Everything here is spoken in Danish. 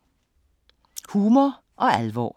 Humor og alvor